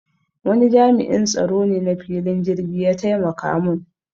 Wani jami'in tsaro ne na filin jirki ya taimaka mun